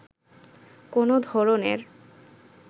কোনো ধরনের